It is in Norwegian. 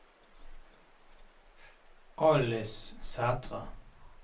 Alice Sæthre